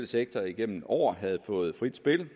sektor igennem år havde fået frit spil